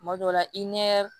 Tuma dɔw la i ɲɛ